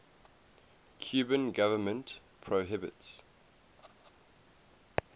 cuban government prohibits